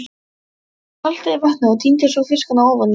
Hann saltaði vatnið og tíndi svo fiskana ofaní.